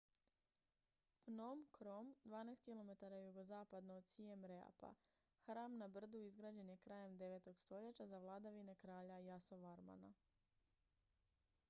phnom krom 12 km jugozapadno od siem reapa hram na brdu izgrađen je krajem 9. stoljeća za vladavine kralja yasovarmana